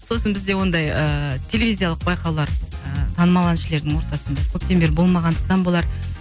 сосын бізде ондай ыыы телевизиялық байқаулар ыыы танымал әншілердің ортасында көптен бері болмағандықтан болар